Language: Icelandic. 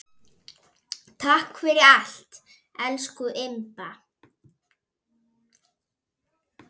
Takk fyrir allt, elsku Imba.